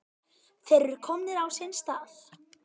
Þeir eru komnir á sinn stað.